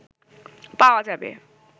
পাওয়া যাবে